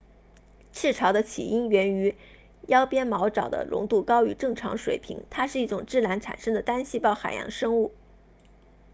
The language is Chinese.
赤潮的起因源于腰鞭毛藻的浓度高于正常水平它是一种自然产生的单细胞海洋生物